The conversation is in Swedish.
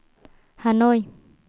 Hanoi